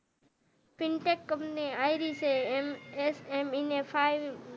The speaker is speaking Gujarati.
પીન્તેક કંપની